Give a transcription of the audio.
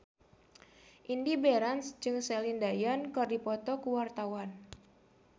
Indy Barens jeung Celine Dion keur dipoto ku wartawan